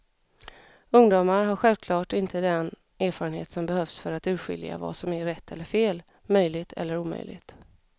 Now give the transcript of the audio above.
Ungdomar har självklart inte den erfarenhet som behövs för att urskilja vad som är rätt eller fel, möjligt eller omöjligt.